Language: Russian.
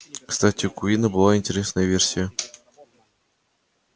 кстати у куинна была интересная версия